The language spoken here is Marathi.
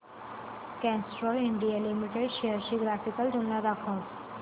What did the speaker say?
कॅस्ट्रॉल इंडिया लिमिटेड शेअर्स ची ग्राफिकल तुलना दाखव